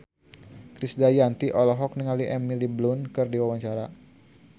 Krisdayanti olohok ningali Emily Blunt keur diwawancara